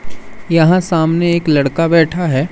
यहां सामने एक लड़का बैठा है।